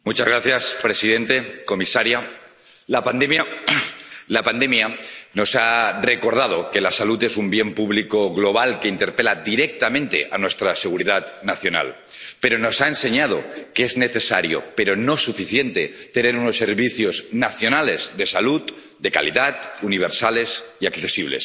Señor presidente, señora comisaria, la pandemia nos ha recordado que la salud es un bien público global que interpela directamente a nuestra seguridad nacional, pero nos ha enseñado que es necesario —pero no suficiente— tener unos servicios nacionales de salud de calidad, universales y accesibles.